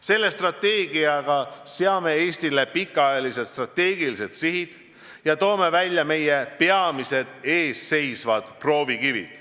Sellega seame Eestile pikaajalised strateegilised sihid ja toome esile peamised proovikivid.